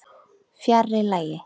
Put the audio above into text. Fjarri lagi.